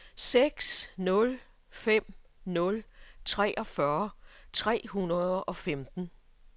seks nul fem nul treogfyrre tre hundrede og femten